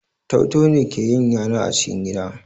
Tau-tau ne ke yin yana a cikin gida